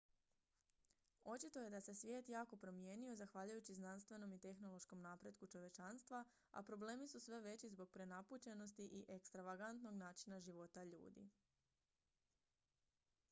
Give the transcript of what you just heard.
očito je da se svijet jako promijenio zahvaljujući znanstvenom i tehnološkom napretku čovječanstva a problemi su sve veći zbog prenapučenosti i ekstravagantnog načina života ljudi